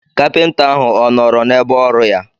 Kapịnta ahụ ọ nọọrọ n'ebe ọrụ ya.